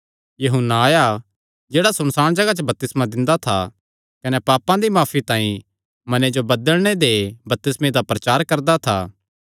यूहन्ना आया जेह्ड़ा सुनसाण जगाह च बपतिस्मा दिंदा था कने पापां दी माफी तांई मने जो बदलणे दे बपतिस्मे दा प्रचार करदा था